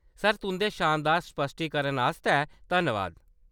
Sir, तुंʼदे शानदार स्पश्टीकरण आस्तै धन्नबाद।